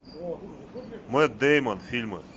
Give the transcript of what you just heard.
мэтт дэймон фильмы